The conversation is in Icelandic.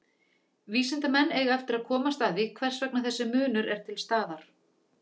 Vísindamenn eiga eftir að komast að því hvers vegna þessi munur er til staðar.